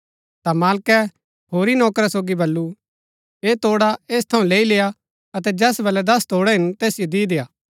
ता मालकै होरी नौकरा सोगी बल्लू ऐह तोड़ा ऐस थऊँ लैई लेय्आ अतै जैस बलै दस तोड़ै हिन तैसिओ दि देय्आ